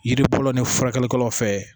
Yiri bolo ni furakɛlikɛlaw fɛ